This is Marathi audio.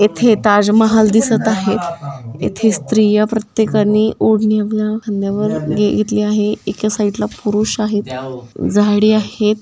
येथे ताजमहल दिसत आहे येथे स्त्रिया प्रत्येकानी होडणी आपल्या कांद्यावर घेतली आहे एका साइड ला पुरुष आहेत झाडे आहेत.